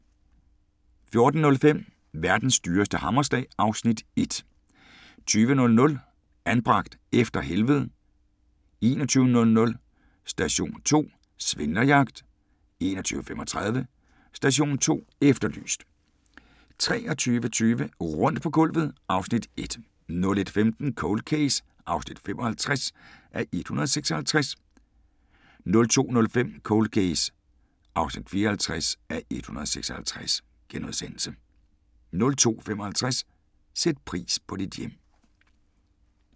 14:05: Verdens dyreste hammerslag (Afs. 1) 20:00: Anbragt - efter helvedet 21:00: Station 2: Svindlerjagt 21:35: Station 2 Efterlyst 23:20: Rundt på gulvet (Afs. 1) 01:15: Cold Case (55:156) 02:05: Cold Case (54:156)* 02:55: Sæt pris på dit hjem